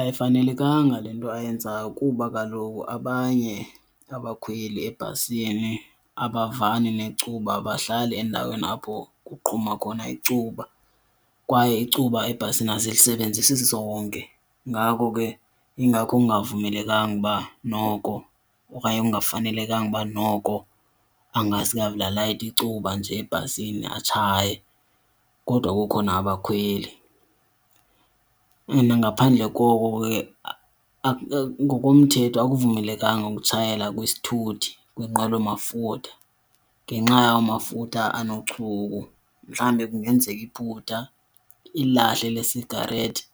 Ayifanelekanga le nto ayenzayo kuba kaloku abanye abakhweli ebhasini abavani necuba, abahlali endaweni apho kuqhuma khona icuba. Kwaye icuba ebhasini asilisebenzisi sonke ngako ke ingakho kungavumelekanga uba noko okanye kungafanelekanga uba noko angasuke avele alayite icuba nje ebhasini atshaye kodwa kukho nabakhweli. And nangaphandle koko ke ngokomthetho akuvumelekanga ukutshayela kwisithuthi, kwinqwelomafutha, ngenxa yamafutha anochuku. Mhlawumbi kungenzeka iphutha ilahle lesigarethi